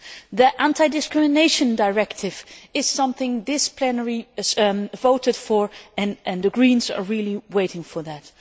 The Anti Discrimination Directive is something this plenary voted for and the Greens are really waiting for that.